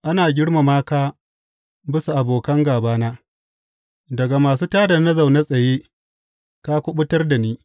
Ana girmama ka bisa abokan gābana; daga masu tā da na zaune tsaye ka kuɓutar da ni.